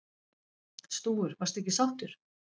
Stúfur: Varstu ekki sáttur?